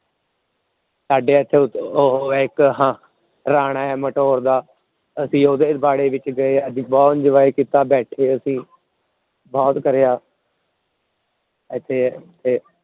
ਸਾਡੇ ਇੱਥੇ ਉਹ ਹੈ ਇੱਕ ਹਾਂ, ਰਾਣਾ ਹੈ ਦਾ, ਅਸੀਂ ਉਹਦੇ ਵਾੜੇ ਵਿੱਚ ਗਏ ਅਸੀਂ ਬਹੁਤ enjoy ਕੀਤਾ ਬੈਠੇ ਅਸੀਂ, ਬਹੁਤ ਕਰਿਆ ਇੱਥੇ ਤੇ